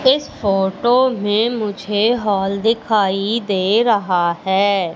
इस फोटो में मुझे हाल दिखाई दे रहा है।